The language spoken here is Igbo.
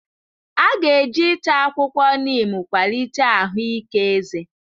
A ga-eji ịta akwụkwọ neem kwalite ahụike eze.